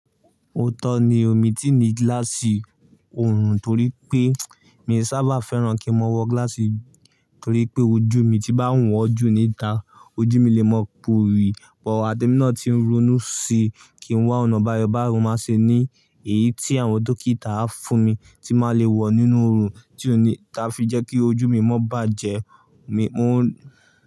Óótọ́ ni o míì tíì ní gíláàsì oorun torí pé, mi sáábà fẹ́ràn kí n máa wọ gíláàsì torí pé ojú mi tí bá ń wọ̀ọ́ jù níta ojú mi le mọ́ ọ pòrì. Wọ̀ adémi náà ti ń ronú sí kí n wá ọ̀nà báyọ̀ báru máa ṣe ní èyí tí àwọn dókítà á fún mi tí máa le wọ̀ nínú oorun tí ó ni táa fi jẹ́ kí ojú mi mo bàjẹ́. Mi móò.